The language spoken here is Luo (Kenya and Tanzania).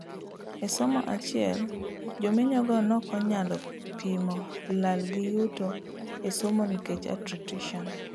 E somo achiel, jomenyo go nokonyalo pimo lal gi yuto e somo nikech attrition